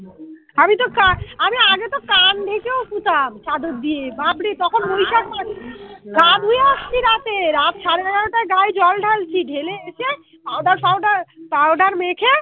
আমি তো আমি আগে তো কান ঢেকেও শুতাম চাদর দিয়ে বাপরে তখন বৈশাখ মাস । গা ধুয়ে আসছি রাতে। রাত সাড়ে নটায় গায়ে জল ঢালছি, ঢেলে এসে আবার powder powder মেখে